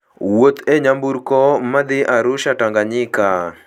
Wuoth e nyamburko madhi Arusha, Tanganyika.